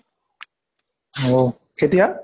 অহ কেতিয়া?